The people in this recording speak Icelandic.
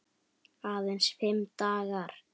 Aðeins fimm dagar.